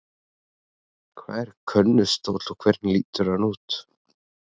Hvað er könnustóll og hvernig lítur hann út?